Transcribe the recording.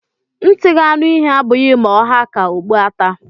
Ntị ga-anụ ihe abụghị ma ọ ha ka okpu ata